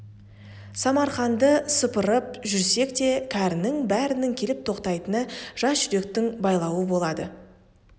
самарқанды сапырып жүрсек те кәрінің бәрінің келіп тоқтайтыны жас жүректің байлауы болады